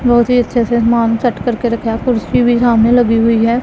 बहोत ही अच्छे से सामान सेट करके रखा है कुर्सी भी सामने लगी हुई है।